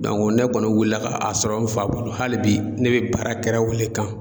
ne kɔni wulila ka a sɔrɔ n fa bolo, hali bi ne bɛ baara kɛra o le kan.